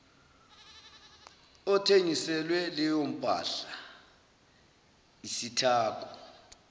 othengiselwe leyompahla isithako